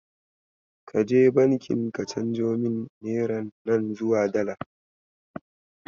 Kaje banki ka canjo mini neran nan zuwa Dala.